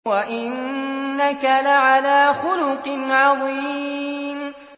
وَإِنَّكَ لَعَلَىٰ خُلُقٍ عَظِيمٍ